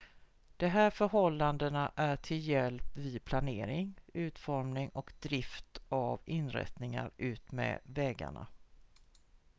de här förhållandena är till hjälp vid planering utformning och drift av inrättningar utmed vägarna